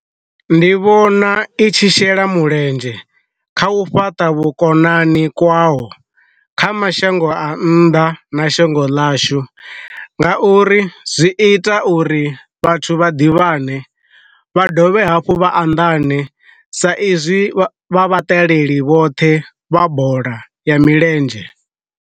Ndi vhona i tshi shela mulenzhe kha u fhaṱa vhukonani kwaho kha mashango a nnḓa na shango ḽashu, nga uri zwi ita uri vhathu vha ḓivhane, vha dovhe hafhu vha anḓane sa izwi vha vhaṱaleli vhoṱhe vha bola ya milenzhe.